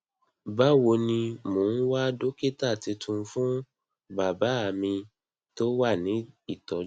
bawo ni mo ń wá dókítà titun fún bàbá mi tó wà ní ìtọjú